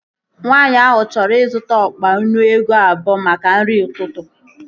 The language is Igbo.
Nwaanyi ahụ chọrọ ịzụta ọkpa nnu ego abụọ maka nri ụtụtụ